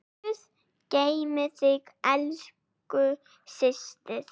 Guð geymi þig, elsku systir.